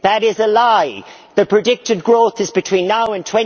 That is a lie the predicted growth is between now and